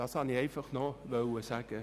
Dies wollte ich noch sagen.